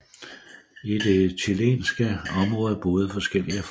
I det chilenske område boede forskellige folk